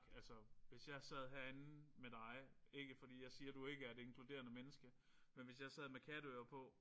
Altså hvis jeg sad herinde med dig ikke fordi jeg siger du ikke er et inkluderende menneske men hvis jeg sad med katteører på